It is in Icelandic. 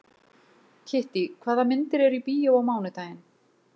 Kittý, hvaða myndir eru í bíó á mánudaginn?